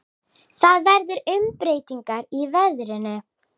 Það verða umbreytingar í veðrinu.